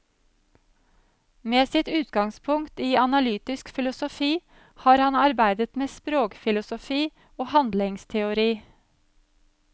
Med sitt utgangspunkt i analytisk filosofi har han arbeidet med språkfilosofi og handlingsteori.